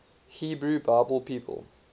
hebrew bible people